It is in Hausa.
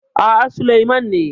A'a, Sulaiman ne.